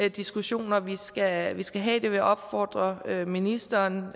diskussioner vi skal skal have det vil jeg opfordre ministeren